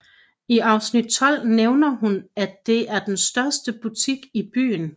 I afsnit 12 nævner hun at det er den største butik i byen